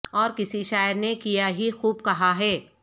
اور کسی شاعر نے کیا ہی خوب کہا ہے